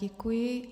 Děkuji.